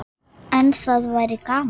En það væri gaman.